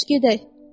Yaxşı gedək.